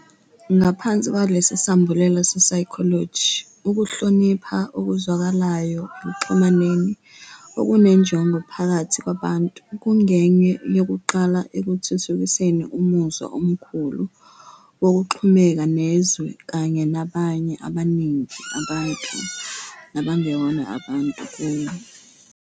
Ngaphansi kwalesi sambulela se-psychology, "Ukuhlonipha okuzwakalayo ekuxhumaneni okunenjongo phakathi kwabantu kungenye yokuqala ekuthuthukiseni umuzwa omkhulu wokuxhumeka nezwe kanye nabanye abaningi, abantu nabangewona abantu, kuwo.